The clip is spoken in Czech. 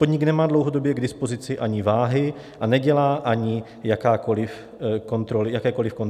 Podnik nemá dlouhodobě k dispozici ani váhy a nedělá ani jakékoliv kontroly váhy kamionů.